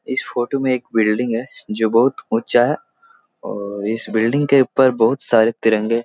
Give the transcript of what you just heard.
इस फोटो में एक बिल्डिंग है जो बहुत ऊँचा है और इस बिल्डिंग के ऊपर बहुत सारे तिरंगे --